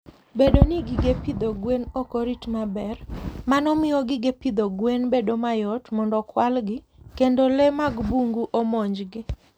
Bedo ni gige pidho gwen ok orit maber, mano miyo gige pidho gwen bedo mayot mondo okwalgi kendo le mag bungu omonjgi.